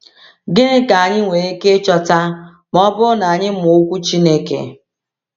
Gịnị ka anyị nwere ike ịchọta ma ọ bụrụ na anyị mụọ Okwu Chineke?